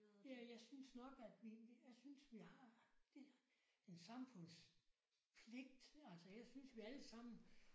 Ja jeg synes nok at vi jeg synes vi har det en samfundspligt altså jeg synes vi alle sammen